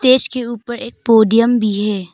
इसके ऊपर एक पोडियम भी है।